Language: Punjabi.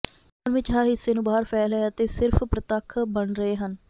ਓਵਨ ਵਿੱਚ ਹਰ ਹਿੱਸੇ ਨੂੰ ਬਾਹਰ ਫੈਲ ਹੈ ਅਤੇ ਸਿਰਫ ਪ੍ਰਤੱਖ ਬਣ ਰਹੇ ਹਨ